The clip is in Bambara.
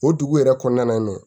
O dugu yɛrɛ kɔnɔna na nin ye